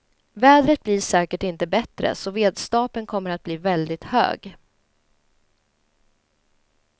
Vädret blir säkert inte bättre så vedstapeln kommer att bli väldigt hög.